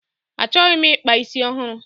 Achọghị m ịkpa isi ọhụrụ.